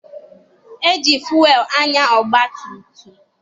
E ji fụelụ anya ọgbatumtum.